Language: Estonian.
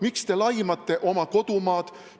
Miks te laimate oma kodumaad?